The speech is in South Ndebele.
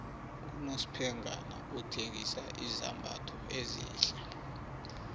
unosphengana uthengisa izambatho ezihle